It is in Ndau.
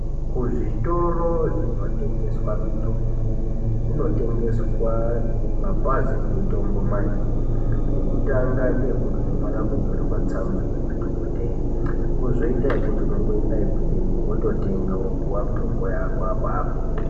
Kuzvitoro zvinotengeswa mitombo, kunotengeswa mapazi emitombo mairi. Ekutanga ngeekuti unofana kunyorerwa tsamba ngemadhokodheya kozoita yekuti unongoenda ikweyo wototenga wopiwa mitombo yako apapo.